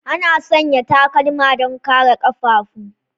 Ana sanya takalma don kare ƙafafu.